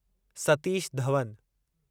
Satish Dhawan